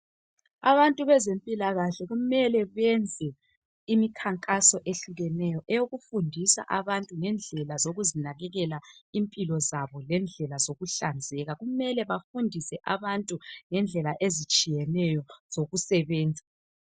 Abantu bezempilakahle kumele benze imikhankaso ehlukeneyo eyokufundisa abantu ngendlela zokuzinakelela impilo zabo lendlela zokuhlanzeka. Kumele bafundise abantu ngendlela ezitshiyeneyo zokusebenza.